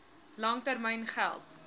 lang termyn geld